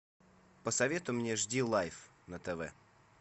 посоветуй мне аш ди лайф на тв